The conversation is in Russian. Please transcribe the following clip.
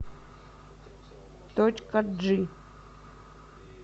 точка джи